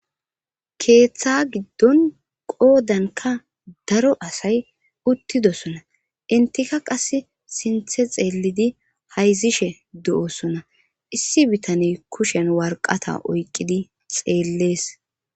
Keeththa giddon qoodanka daro asay uttidosona intika qas sinthe xeellidi hayzishe du7osona issi bitaney kushen warqata oyqqidi xeellees.